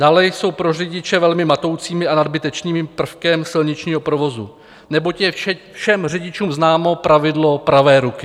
Dále jsou pro řidiče velmi matoucím a nadbytečným prvkem silničního provozu, neboť je všem řidičům známo pravidlo pravé ruky.